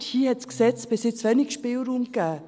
Hier hat das Gesetz bisher wenig Spielraum gegeben.